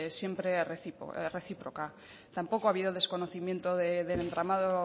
siempre recíproca tampoco ha habido desconocimiento del entramado